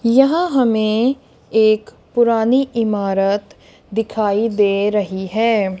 यह हमें एक पुरानी इमारत दिखाई दे रही है।